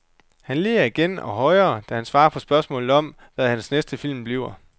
Han ler igen og højere, da han svarer på spørgsmålet om, hvad hans næste film bliver.